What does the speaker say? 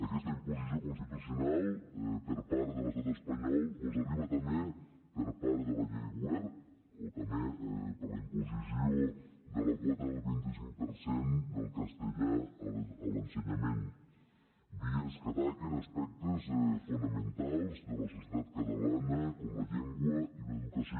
aquesta imposició constitucional per part de l’estat espanyol mos arriba també per part de la llei wert o també per la imposició de la quota del vint cinc per cent del castellà a l’ensenyament vies que ataquen aspectes fonamentals de la societat catalana com la llengua i l’educació